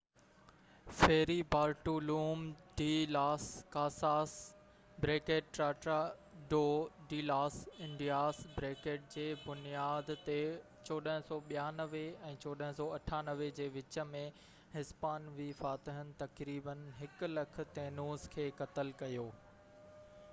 ferry Bartolome de las Casas Tratado de las Indias جي بنياد تي 1492 ۽ 1498 جي وچ ۾ هسپانوي فاتحن تقريبن 100،000 تينوس کي قتل ڪيو